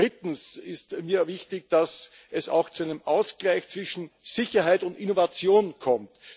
Drittens ist mir wichtig, dass es auch zu einem Ausgleich zwischen Sicherheit und Innovation kommt.